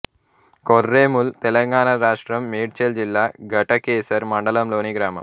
కొర్రేముల్ తెలంగాణ రాష్ట్రం మేడ్చల్ జిల్లా ఘటకేసర్ మండలంలోని గ్రామం